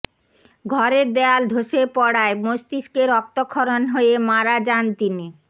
ঘরের দেয়াল ধসে পড়ায় মস্তিষ্কে রক্তক্ষরণ হয়ে মারা যান তিনি